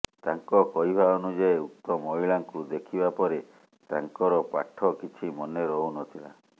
ତାଙ୍କ କହିବା ଅନୁଯାୟୀ ଉକ୍ତ ମହିଳାଙ୍କୁ ଦେଖିବାପରେ ତାଙ୍କର ପାଠ କିଛି ମନେ ରହୁନଥିଲା